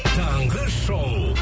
таңғы шоу